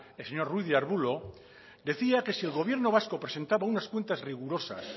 el señor ruiz de arbulo decía que si el gobierno vasco presentaba unas cuentas rigurosas